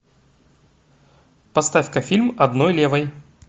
поставь ка фильм одной левой